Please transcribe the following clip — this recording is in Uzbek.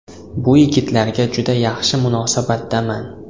Bu yigitlarga juda yaxshi munosabatdaman.